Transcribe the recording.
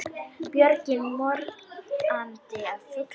Björgin morandi af fuglum.